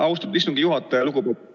Austatud istungi juhataja!